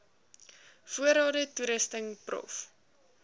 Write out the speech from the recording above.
voorrade toerusting prof